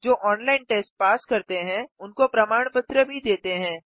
जो online test pass करते हैं उनको प्रमाण पत्र भी देते हैं